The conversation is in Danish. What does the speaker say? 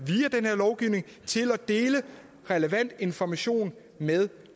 til at dele relevant information med